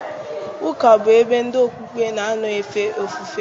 Ụka bụ ebe ndị okpukpe na-anọ efe ofufe